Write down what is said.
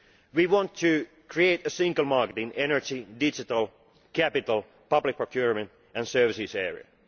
We want to create a single market in the energy, digital, capital, public procurement and services areas.